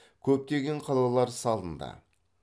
көптеген қалалар салынды